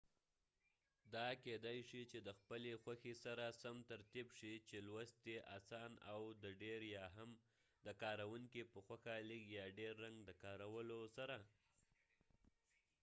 دا کېدای شي د خپلی خوښی سره سم ترتیب شي چې لوست یې اسان او د ډیر یا هم د کاروونکې په خوښه لږ یا ډیر رنګ د کارولو سره